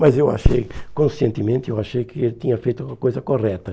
Mas eu achei, conscientemente, eu achei que ele tinha feito uma coisa correta.